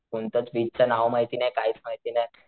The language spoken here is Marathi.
कोणतच बीच च नाव माहिती नाही कायच माहिती नाही.